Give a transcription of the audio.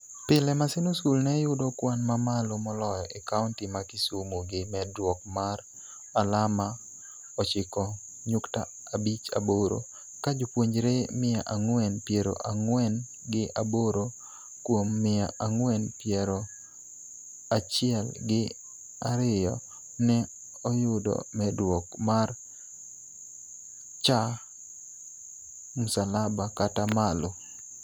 Pile, Maseno School ne yudo kwan mamalo moloyo e County ma Kisumu gi medruok mar alama 9.58 ka jopuonjre mia ang'wen piero ang'wen gi aboro kuom mia ang'wen piero achiel gi ariyo ne oyudo medruok mar C+ kata malo.